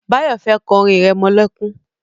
Báyọ̀ fẹ́ kọ́ orin irẹmọlẹ́kún